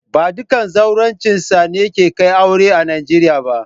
Ba dukan zawarcinsa ne kan kai aure a'Nijeriya ba.